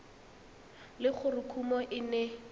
le gore kumo e ne